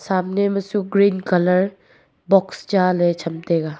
samne ma chu green colour box cha le chamtaiga.